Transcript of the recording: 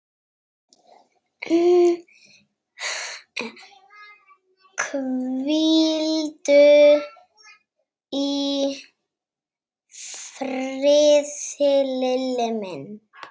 Hvíldu í friði, Lilli minn.